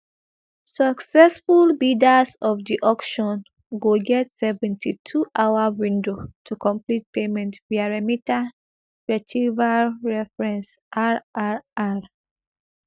successful bidders of di auction go get seventy-twohour window to complete payment via remita retrieval reference rrr